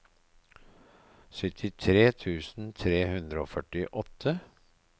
syttitre tusen tre hundre og førtiåtte